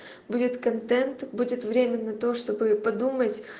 будет контент будет время на то чтобы подумать